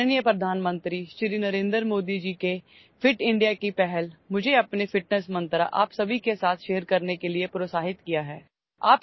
عزت مآب وزیر اعظم جناب نریندر مودی جی کے فٹ انڈیا پہل نے مجھے اپنے فٹنس منتر کو آپ سب کے ساتھ ساجھا کرنے کی ترغیب دی ہے